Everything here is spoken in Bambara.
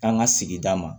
K'an ka sigida ma